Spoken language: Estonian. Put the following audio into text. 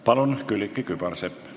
Palun, Külliki Kübarsepp!